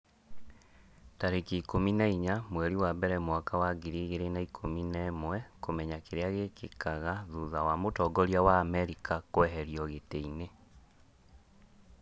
tarĩki ikũmi na inya mweri wa mbere mwaka wa ngiri igĩrĩ na ikũmi na ĩmweKũmenya kĩrĩa gĩkĩkaga thutha wa mũtongoria wa Amerika kũeherio gĩtĩ-inĩ